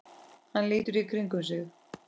Hann lítur í kringum sig.